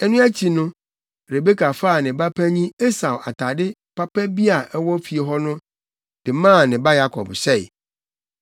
Ɛno akyi no, Rebeka faa ne ba panyin Esau atade papa bi a ɛwɔ fie hɔ de maa ne ba Yakob hyɛe.